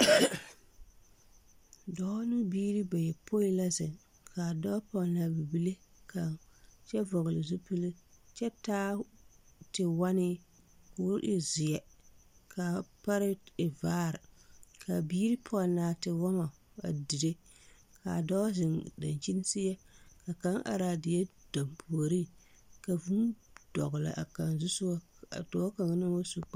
Dɔɔ ne o biiri bayɔpoi la zeŋ k'a dɔɔ pɔnne a bibile ka kyɛ vɔgele zupili kyɛ taa tewɔnee k'o e zeɛ k'a pare e vaare k'a biiri pɔnnaa tewɔmɔ a dire k'a dɔɔ zeŋ dankyini seɛ ka kaŋ are a die dampuoriŋ ka vūū dɔgele a kaŋ zusogɔ a dɔɔ kaŋa naŋ wa su kparoŋ.